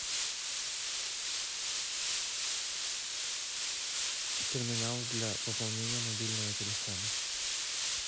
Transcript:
терминал для пополнения мобильного телефона